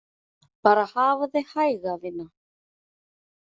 Bara hafa þig hæga, vina.